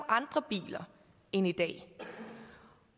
andre biler end i dag